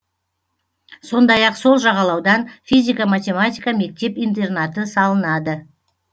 сондай ақ сол жағалаудан физика математика мектеп интернаты салынады